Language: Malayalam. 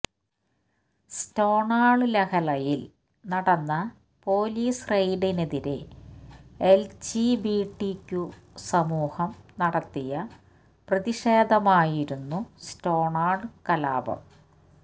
സ്റ്റോണ്വാള് ലഹളയില് നടന്ന പോലീസ് റെയ്ഡിനെതിരെ എല്ജിബിടിക്യു സമൂഹം നടത്തിയ പ്രതിഷേധമായിരുന്നു സ്റ്റോണ്വാള് കലാപം